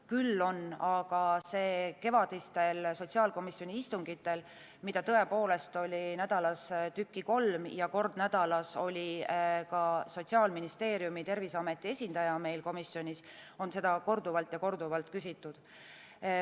Küll on seda aga kevadistel sotsiaalkomisjoni istungitel, mida oli nädalas tükki kolm, ja kord nädalas oli ka Sotsiaalministeeriumi ja Terviseameti esindaja meil komisjonis, korduvalt ja korduvalt küsitud.